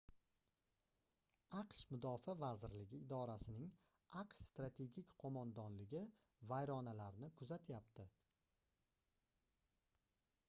aqsh mudofaa vazirligi idorasining aqsh strategik qoʻmondonligi vayronalarni kuzatyapti